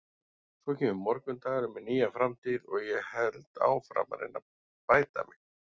Svo kemur morgundagurinn með nýja framtíð og ég held áfram að reyna að bæta mig.